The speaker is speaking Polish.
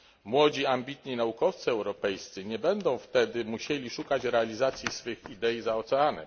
Młodzi, ambitni naukowcy europejscy nie będą wtedy musieli szukać realizacji swych idei za oceanem.